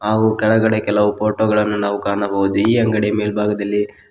ಹಾಗು ಕೆಳಗಡೆ ಕೆಲವು ಫೋಟೋ ಗಳನ್ನು ನಾವು ಕಾಣಬಹುದು ಈ ಅಂಗಡಿ ಮೇಲ್ಬಾಗದಲ್ಲಿ--